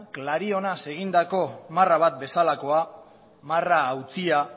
klarionaz egindako marra bat bezalakoa marra hautsia